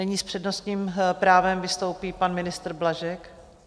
Nyní s přednostním právem vystoupí pan ministr Blažek.